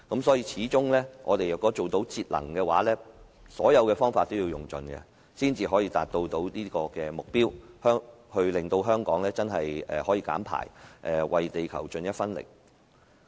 所以，歸根究底，我們若要節能，所有方法都要用盡，才可以達到這個目標，令香港可以減排，為地球出一分力。